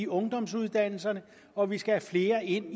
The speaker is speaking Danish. ungdomsuddannelserne og at vi skal flere ind